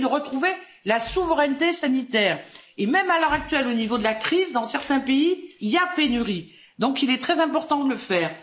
Il s'agit de retrouver la souveraineté sanitaire. Et même à l'heure actuelle, au niveau de la crise, dans certains pays, il y a pénurie. Il est donc très important de le faire.